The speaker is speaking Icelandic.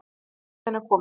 Leigubíllinn er kominn.